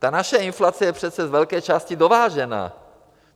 Ta naše inflace je přece z velké části dovážená.